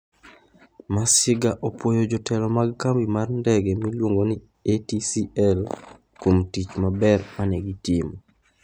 Masiga opwoyo jotelo mag kambi mar ndege miluongo ni ATCL kuom tich maber ma ne gitimo.